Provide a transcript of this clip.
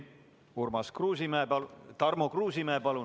Tarmo Kruusimäe, palun!